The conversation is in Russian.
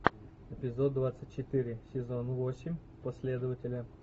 эпизод двадцать четыре сезон восемь последователя